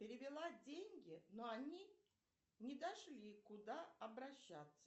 перевела деньги но они не дошли куда обращаться